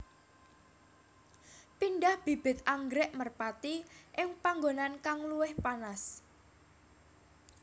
Pindah bibit anggrèk merpati ing panggonan kang luwih panas